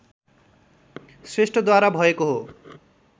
श्रेष्ठद्वारा भएको हो